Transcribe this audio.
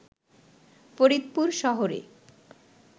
ফরিদপুর শহরে